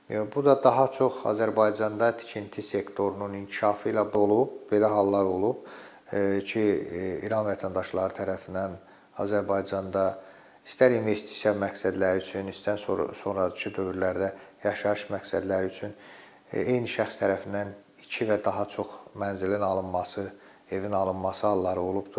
Bu da daha çox Azərbaycanda tikinti sektorunun inkişafı ilə olub, belə hallar olub ki, İran vətəndaşları tərəfindən Azərbaycanda istər investisiya məqsədləri üçün, istər sonrakı dövrlərdə yaşayış məqsədləri üçün eyni şəxs tərəfindən iki və daha çox mənzilin alınması, evin alınması halları olubdur.